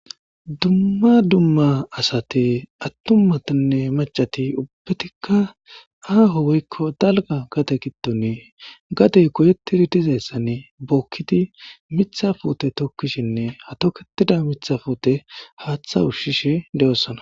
dumma dumma asate attummatanne macati ubbbetikka aaho woykko dalga gate kitone gatey koyetididizayssanne bookkiti mitha foote tokkishinne hatoketida mitha foote haaththa ushshishe de7osana.